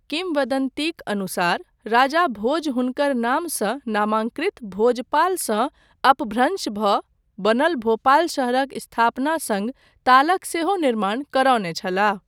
किंवदन्तीक अनुसार राजा भोज हुनकर नामसँ नामांकृत भोजपालसँ अपभ्रंश भऽ बनल भोपाल शहरक स्थापना सङ्ग तालक सेहो निर्माण करौने छलाह।